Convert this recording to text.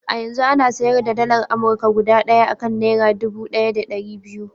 A yanzu ana sayar da dalar Amurka guda ɗaya a kan naira dubu ɗaya da ɗari biyu.